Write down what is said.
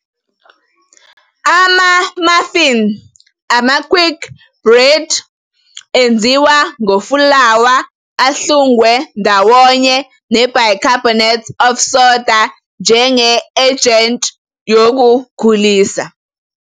Ama-muffin ama-Quickbread enziwa ngofulawa, ahlungwe ndawonye ne- bicarbonate of soda njenge-ejenti yokukhulisa.